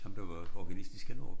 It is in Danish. Ham der var organist i Skanderup